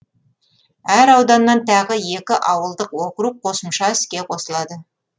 әр ауданнан тағы екі ауылдық округ қосымша іске қосылады